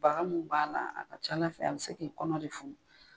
Bagan mun b'a la, a ka ca Ala fɛ an bi se k'i kɔnɔ de funu